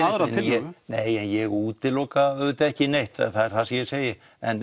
aðra tillögu nei en ég útiloka auðvitað ekki neitt það er það sem ég segi en